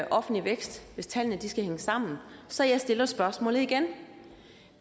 offentlig vækst hvis tallene skal hænge sammen så jeg stiller spørgsmålet igen